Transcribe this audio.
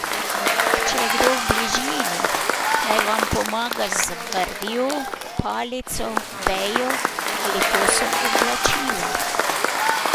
Če je kdo v bližini, naj vam pomaga z vrvjo, palico, vejo ali kosom oblačila.